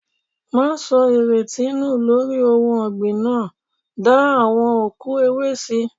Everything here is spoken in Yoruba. Máa sọ ìrètí nù lórí ohun ọ̀gbìn náà, da awon òkú ewé síi.